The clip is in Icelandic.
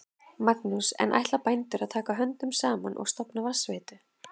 Magnús: En ætla bændur að taka höndum saman og stofna vatnsveitu?